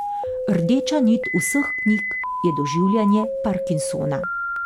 Rdeča nit vseh knjig je doživljanje parkinsona.